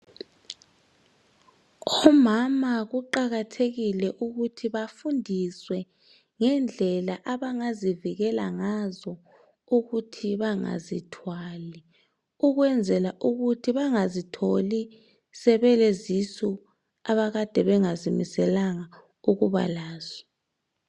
Omama kuqakathekile ukuthi bafundiswe ngendlela abangazivikela ngazo ukuthi bangazithwali ukwenzela ukuthi bangazitholi sebelezisu abakade bengazimiselanga ukuba lazo.